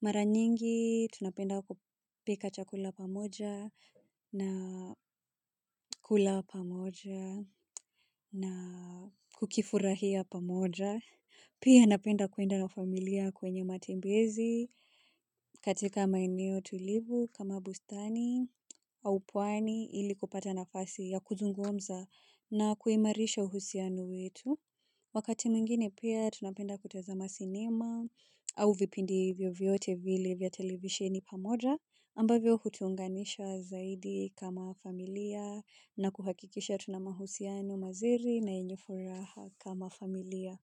Mara nyingi, tunapenda kupika chakula pamoja na kula pamoja na kukifurahia pamoja. Pia napenda kuenda na familia kwenye matembezi katika maeneo tulivu kama bustani au pwani ili kupata nafasi ya kuzungumza na kuimarisha uhusiano wetu. Wakati mwingine pia tunapenda kutazama sinema au vipindi vyovyote vile vya televisheni pamoja ambavyo hutuunganisha zaidi kama familia na kuhakikisha tuna mahusiano mazuri na yenye furaha kama familia.